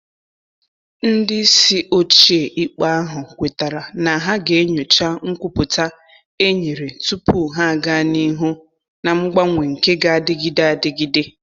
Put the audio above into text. Ndị isi ochie ikpe ahụ kwetara na ha ga enyocha nkwupụta e nyere tupu ha aga n'ihu na mgbanwe nke g'adịgide adịgide.